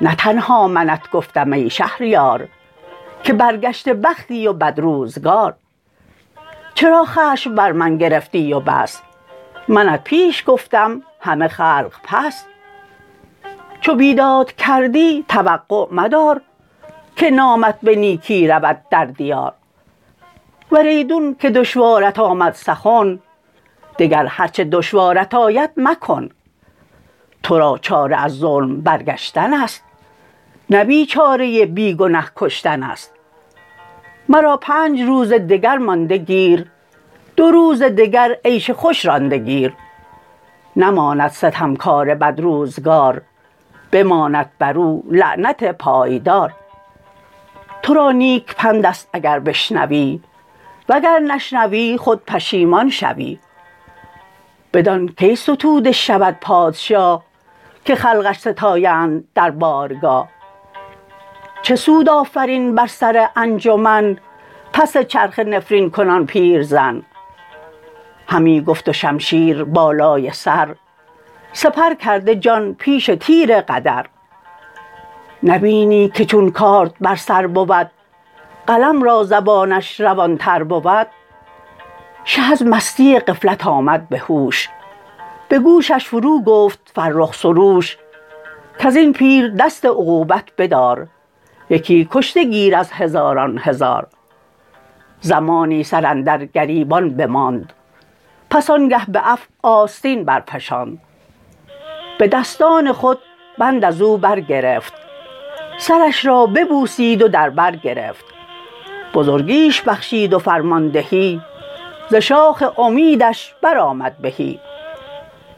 نه تنها منت گفتم ای شهریار که برگشته بختی و بد روزگار چرا خشم بر من گرفتی و بس منت پیش گفتم همه خلق پس چو بیداد کردی توقع مدار که نامت به نیکی رود در دیار ور ایدون که دشوارت آمد سخن دگر هر چه دشوارت آید مکن تو را چاره از ظلم برگشتن است نه بیچاره بی گنه کشتن است مرا پنج روز دگر مانده گیر دو روز دگر عیش خوش رانده گیر نماند ستمکار بد روزگار بماند بر او لعنت پایدار تو را نیک پند است اگر بشنوی وگر نشنوی خود پشیمان شوی بدان کی ستوده شود پادشاه که خلقش ستایند در بارگاه چه سود آفرین بر سر انجمن پس چرخه نفرین کنان پیرزن همی گفت و شمشیر بالای سر سپر کرده جان پیش تیر قدر نبینی که چون کارد بر سر بود قلم را زبانش روان تر بود شه از مستی غفلت آمد به هوش به گوشش فرو گفت فرخ سروش کز این پیر دست عقوبت بدار یکی کشته گیر از هزاران هزار زمانی سر اندر گریبان بماند پس آن گه به عفو آستین برفشاند به دستان خود بند از او برگرفت سرش را ببوسید و در بر گرفت بزرگیش بخشید و فرماندهی ز شاخ امیدش برآمد بهی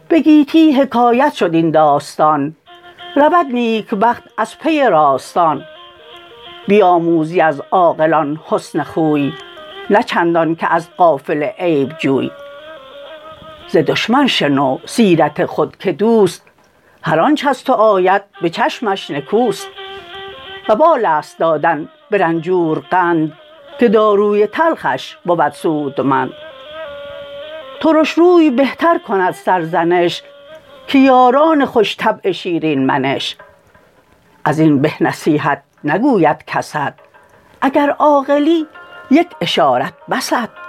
به گیتی حکایت شد این داستان رود نیکبخت از پی راستان بیاموزی از عاقلان حسن خوی نه چندان که از غافل عیب جوی ز دشمن شنو سیرت خود که دوست هرآنچ از تو آید به چشمش نکوست وبال است دادن به رنجور قند که داروی تلخش بود سودمند ترش روی بهتر کند سرزنش که یاران خوش طبع شیرین منش از این به نصیحت نگوید کست اگر عاقلی یک اشارت بست